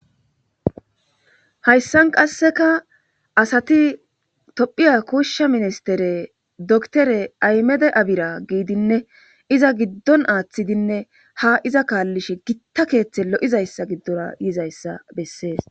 hayssan qasseka asati tophiya kushsha ministere doktere aymede abira giidinne iza giddon aaththidinne ha iza kaallishe gitta keeththe lo7izayssa giddora yizayssa bessees